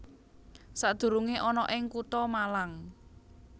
Sadurungé ana ing Kutha Malang